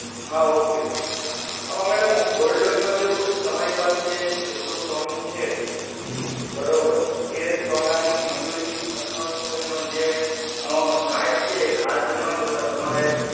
હા okay madam gold loan માં કેવું છે તમારી પાસે જેટલું સોનુ છે બરોબર સોનાની મજૂરી અથવા તો એનો જે ઘાટ છે એનો ઘાટ ના જોતા